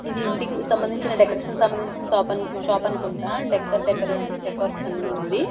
ఇది ఇంటికి సంబంధించిన డెకరేషన్ కి సంబంధించిన సాప్ షాప్ అనుకుంటా డెక్క డెక్కర్ డేకార్స్ అని ఉంది.